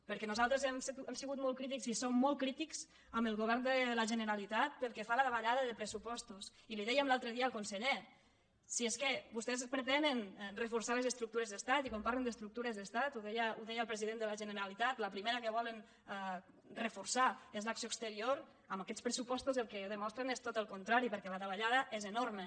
perquè nosaltres hem sigut molt crítics i som molt crítics amb el govern de la generalitat pel que fa a la davallada de pressupostos i li ho dèiem l’altre dia al conseller si és que vostès pretenen reforçar les estructures d’estat i quan parlen d’estructures d’estat ho d eia el president de la generalitat la primera que volen reforçar és l’acció exterior amb aquests pressupostos el que demostren és tot el contrari perquè la davallada és enorme